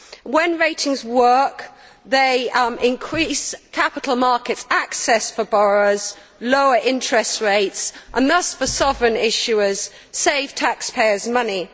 When ratings work, they increase capital markets' access for borrowers, lower interest rates and thus, for sovereign issuers, save taxpayers' money.